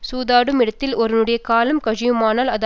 சூதாடுமிடத்தில் ஒருவனுடைய காலம் கழியுமானால் அது